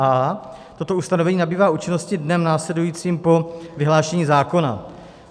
a) toto ustanovení nabývá účinnosti dnem následujícím po vyhlášení zákona.